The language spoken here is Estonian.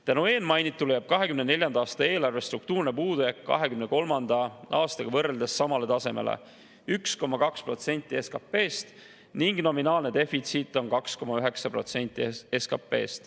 Tänu eelmainitule jääb 2024. aasta eelarve struktuurne puudujääk 2023. aastaga võrreldes samale tasemele – 1,2% SKP-st – ning nominaalne defitsiit on 2,9% SKP-st.